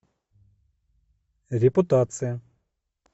репутация